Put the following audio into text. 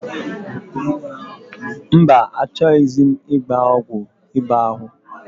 Mba, achọghịzi m ịgba ọgwụ ịba ahụ.